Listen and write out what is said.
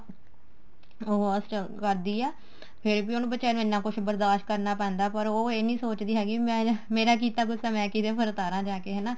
ਕਰਦੀ ਏ ਫੇਰ ਵੀ ਉਹਨੂੰ ਬੀਚਾਰੀ ਨੂੰ ਇੰਨਾ ਕੁੱਝ ਬਰਦਾਸ਼ ਕਰਨਾ ਪੈਂਦਾ ਪਰ ਉਹ ਇਹ ਨੀ ਸੋਚਦੀ ਹੈਗੀ ਮੇਰਾ ਕੀਤਾ ਗੂੱਸਾ ਮੈਂ ਕਿਦੇ ਪਰ ਉਤਾਰਾ ਜਾ ਕੇ ਹਨਾ